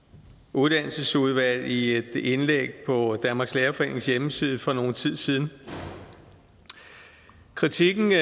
uddannelsesudvalg i et indlæg på danmarks lærerforenings hjemmeside for nogen tid siden kritikken af